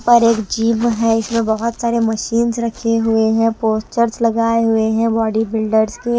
पर एक जिम है इसमें बहुत सारे मशींस रखे हुए हैं पोस्चर्स लगाए हुए हैं बॉडी बिल्डर्स के --